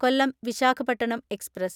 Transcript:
Kollam Visakhapatnam express